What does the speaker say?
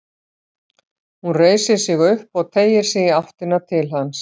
Hún reisir sig upp og teygir sig í áttina til hans.